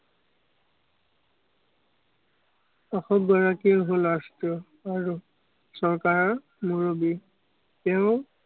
হল last আৰু চৰকাৰৰ মুৰব্বী, তেওঁ